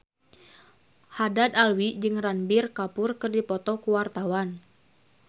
Haddad Alwi jeung Ranbir Kapoor keur dipoto ku wartawan